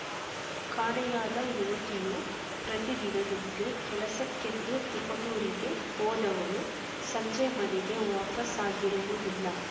ಕಾಣೆಯಾದ ಯುವತಿಯು ಪ್ರತಿದಿನದಂತೆ ಕೆಲಸಕ್ಕೆಂದು ತಿಪಟೂರಿಗೆ ಹೋದವಳು ಸಂಜೆ ಮನೆಗೆ ವಾಪಾಸ್ಸಾಗಿರುವುದಿಲ್ಲ